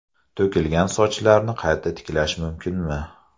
To‘kilgan sochlarni qayta tiklash mumkinmi?.